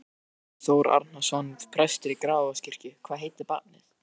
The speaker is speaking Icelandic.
Vigfús Þór Árnason, prestur í Grafarvogskirkju: Hvað heitir barnið?